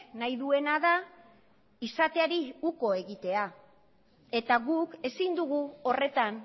nahi duena da izateari uko egitea eta guk ezin dugu horretan